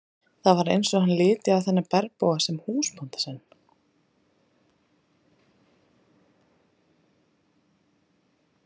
Það var eins og hann liti á þennan bergbúa sem húsbónda sinn.